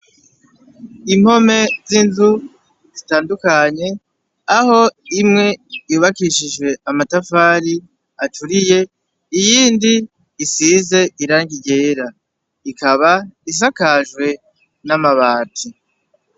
Impome z'inzu zitandukanye aho imwe yubakishije amatafari aturiye, iyindi isize irangi ryera. Ikaba isakajwe n'amabati.